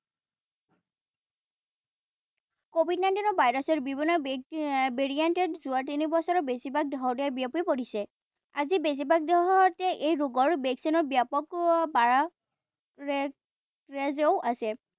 covid nineteen ৰ ভাইৰাছৰ বিভিন্ন variant এ যোৱা তিনিবছৰ বেছিভাগ দেশতে বিয়পি পৰিছে। আজি বেছিভাগ দেশতে এই ৰোগৰ ভেকচিনৰ ব্যাপক আছে।